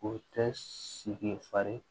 O tɛ sigi fari